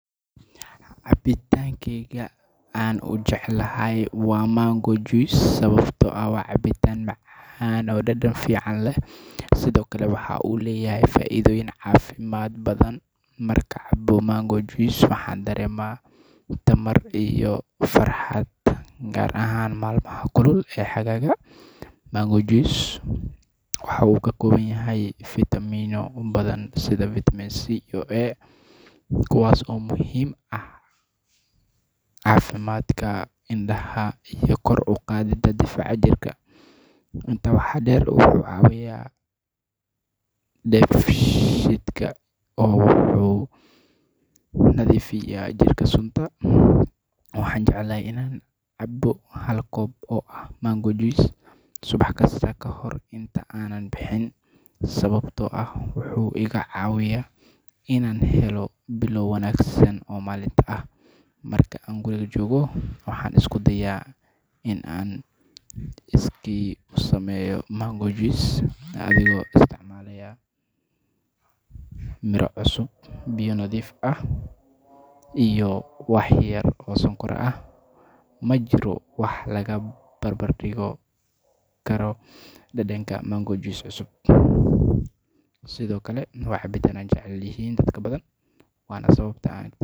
Cabitaankeyga aan ugu jeclahay waa mango juice sababtoo ah waa cabitaan macaan oo dhadhan fiican leh, sidoo kale waxa uu leeyahay faa’iidooyin caafimaad oo badan. Markaan cabo mango juice, waxaan dareemaa tamar iyo farxad, gaar ahaan maalmaha kulul ee xagaaga. Mango juice waxa uu ka kooban yahay fitamiinno badan sida fitamiin C iyo A, kuwaas oo muhiim u ah caafimaadka indhaha iyo kor u qaadidda difaaca jirka. Intaa waxaa dheer, wuxuu caawiyaa dheefshiidka oo wuxuu nadiifiyaa jirka sunta. Waxaan jeclahay in aan cabbo hal koob oo ah mango juice subax kasta ka hor inta aanan bixin, sababtoo ah wuxuu iga caawiyaa in aan helo bilow wanaagsan oo maalinta ah. Marka aan guriga joogo, waxaan isku dayaa in aan iskii u sameeyo mango juice adigoo isticmaalaya miro cusub, biyo nadiif ah iyo wax yar oo sonkor ah. Ma jiro wax la barbardhigi karo dhadhanka mango juice cusub. Sidoo kale, waa cabitaan ay jecel yihiin dad badan.